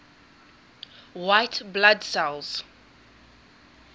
white blood cells